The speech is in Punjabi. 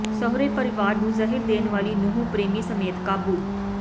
ਸਹੁਰੇ ਪਰਿਵਾਰ ਨੂੰ ਜ਼ਹਿਰ ਦੇਣ ਵਾਲੀ ਨੂੰਹ ਪ੍ਰੇਮੀ ਸਮੇਤ ਕਾਬੂ